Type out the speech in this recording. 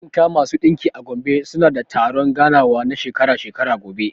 Maɗinka/ masu ɗinki a Gombe suna da taron ganawa na shekara-shekara gobe.